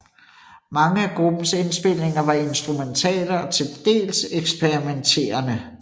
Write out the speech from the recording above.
Mange af gruppens indspilninger var instrumentale og til dels eksperimenterende